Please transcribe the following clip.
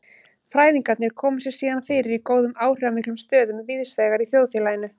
Fræðingarnir koma sér síðan fyrir í góðum áhrifamiklum stöðum víðsvegar í þjóðfélaginu.